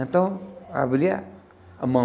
Então, abria a mão.